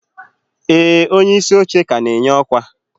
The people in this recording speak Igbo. ee, onyeisi oche ka na-enye ọkwa.